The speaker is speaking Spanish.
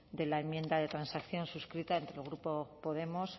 de la enmienda de transacción suscrita entre el grupo podemos